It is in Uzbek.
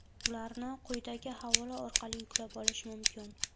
Ularni quyidagi havola orqali yuklab olish mumkin.